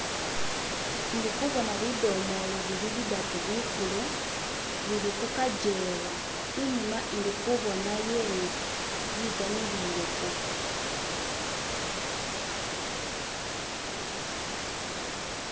Indikubona bidomooro bili bidatu bikulu bili ku kagyewa, inyuma indi kuboonayo inzu bigamilireko..................